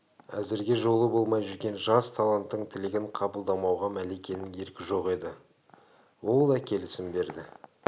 әзірге жолы болмай жүрген жас таланттың тілегін қабылдамауға мәликенің еркі жоқ еді ол да келісім берді